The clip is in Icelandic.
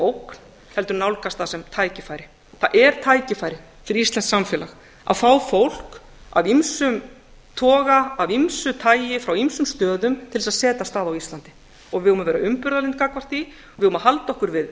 ógn heldur nálgast það sem tækifæri það er tækifæri fyrir íslenskt samfélag að fá fólk af ýmsum toga af ýmsu tagi frá ýmsum stöðum til að setjast að á íslandi við eigum að vera umburðarlynd gagnvart því við eigum að halda okkur við